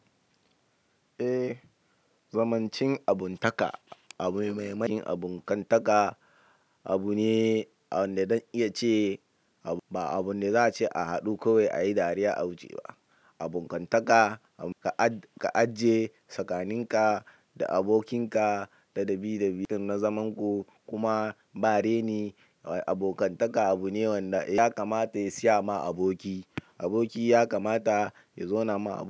Eh, zamancin abuntaka, abu mai mahin abun kantaka abu ne wanda don iya ce ba abun da za'a ce a haɗu kawai ayi dariya a wuce ba abun kantaka ka aje tsakaninka da abokinka da dabii da bitin na zaman ku kuma bareni abokantaka abu ne wanda ya kamata ya siya ma aboki. Aboki ya kamata ya zauna ma.